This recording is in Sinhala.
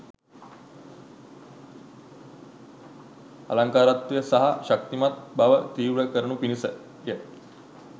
අලංකාරත්වය සහ ශක්තිමත් බව තීව්‍ර කරනු පිණිසය.